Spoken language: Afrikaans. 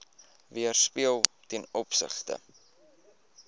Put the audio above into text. weerspieël ten opsigte